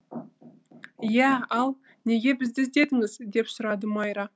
иә ал неге бізді іздедіңіз деп сұрады майра